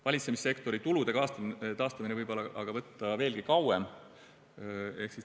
Valitsemissektori tulude taastumine võib aga võtta veelgi kauem.